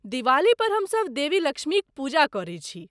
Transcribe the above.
दिवाली पर हमसभ देवी लक्ष्मीक पूजा करैत छी।